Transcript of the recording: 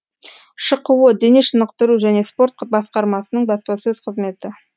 шқо дене шынықтыру және спорт басқармасының баспасөз қызметі